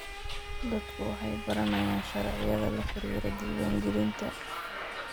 Dadku waxay baranayaan sharciyada la xiriira diiwaangelinta.